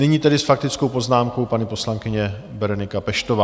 Nyní tedy s faktickou poznámkou paní poslankyně Berenika Peštová.